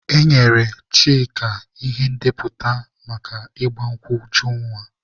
E nyere Chika ihe ndepụta maka ịgba nkwụ Ujunwa.